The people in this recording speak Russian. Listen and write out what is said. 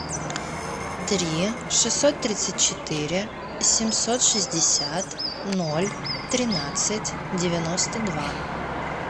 три шестьсот тридцать четыре семьсот шестьдесят ноль тринадцать девяносто два